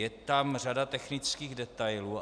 Je tam řada technických detailů.